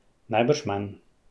Najbrž manj.